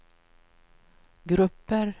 grupper